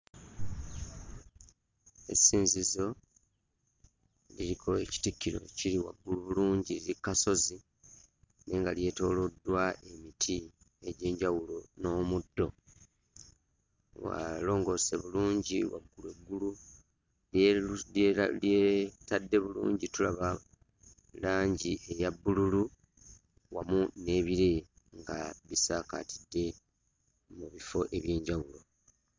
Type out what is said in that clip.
Essinzizo liriko ekitikkiro kiri waggulu bulungi, eri ku kasozi nye nga lyetooloddwa emiti egy'enjawulo n'omuddo. Walongoose bulungi, waggulu eggulu lyeru lyera lyetadde bulungi tulaba langi eya bbululu wamu n'ebire nga bisaakaatidde mu bifo eby'enjawulo.